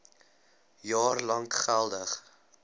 jaar lank geldig